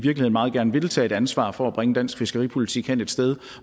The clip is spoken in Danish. meget gerne vil tage et ansvar for at bringe dansk fiskeripolitik hen et sted